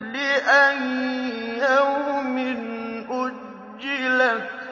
لِأَيِّ يَوْمٍ أُجِّلَتْ